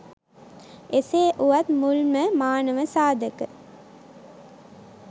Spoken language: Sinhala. එසේ වුවත් මුල්ම මානව සාධක